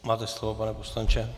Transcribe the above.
Máte slovo, pane poslanče.